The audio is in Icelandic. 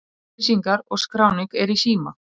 Upplýsingar og skráning er í síma.